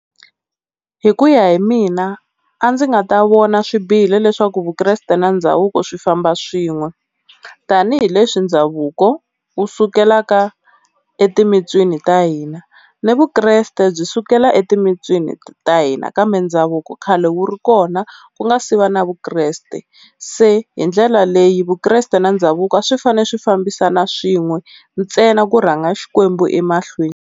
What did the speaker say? Hi ku ya hi mina a ndzi nga ta vona swi bihile leswaku Vukreste na ndhavuko swi famba swin'we, tanihileswi ndhavuko wu sukelaka e timitswini ta hina, ni Vukreste byi sukela etimitswini ta hina kambe ndhavuko khale wu ri kona ku nga se va na Vukreste. Se hi ndlela leyi Vukreste na ndhavuko a swi fanele swi fambisana swin'we ntsena ku rhanga Xikwembu emahlweni.